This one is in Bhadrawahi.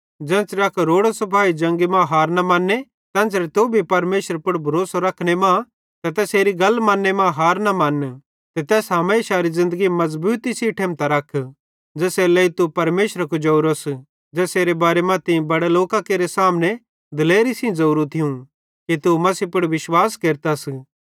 ज़ेन्च़रे अक रोड़ो सिपाई जंगी मां लड़ैई मां हार न मन्ने तेन्च़रे तू भी परमेशरे पुड़ भरोसो रखने मां ते तैसेरी गल मन्ने मां हार न मन्न ते तैस हमेशारी ज़िन्दगी मज़बूती सेइं ठेमतां रख ज़ेसेरे लेइ तू परमेशरे कुजावरोस ते ज़ेसेरे बारे मां तीं बड़े लोकां केरे सामने दिलेरी सेइं ज़ोरू थियूं कि तू मसीह पुड़ विश्वास केरतस